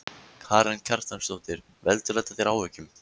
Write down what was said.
Karen Kjartansdóttir: Veldur þetta þér áhyggjum?